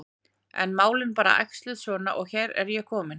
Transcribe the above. En málin bara æxluðust svona og hérna er ég komin.